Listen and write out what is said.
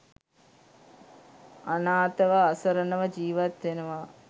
අනාතව අසරණව ජීවත් වෙනවා.